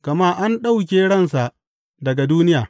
Gama an ɗauke ransa daga duniya.